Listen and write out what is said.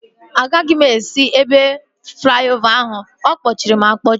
Agaghị m esi ebe flaiovaa ahu, ọkpọchịri akpọchi